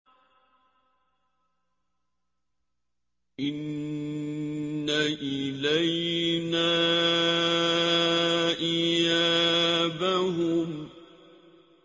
إِنَّ إِلَيْنَا إِيَابَهُمْ